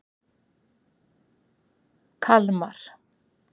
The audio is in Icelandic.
Kalmar